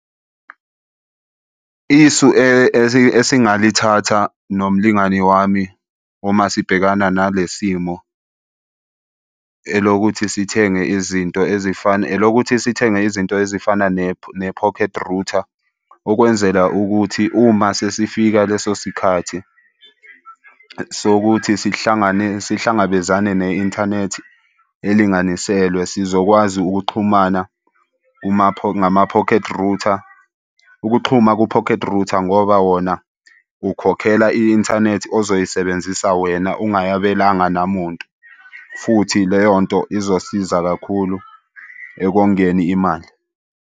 Isu esingalithatha nomlingani wami uma sibhekana nale simo, elokuthi sithenge izinto ezifana. Elokuthi sithenge izinto ezifana ne-pocket router. Okwenzela ukuthi uma sesifika leso sikhathi sokuthi sihlangane sihlangabezane ne-inthanethi elinganiselwe, sizokwazi ukuxhumana ngama-pocket router. Ukuxhuma ku-pocket router ngoba wona ukhokhela i-inthanethi ozoyisebenzisa wena ungayabelanga namuntu futhi leyo nto izosiza kakhulu ekongeni imali.